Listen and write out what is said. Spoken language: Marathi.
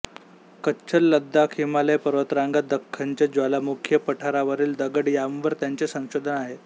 कच्छ लडाख हिमालय पर्वतरांगा दख्खनचे ज्वालामुखीय पठारावरील दगड यांवर त्यांचे संशोधन आहे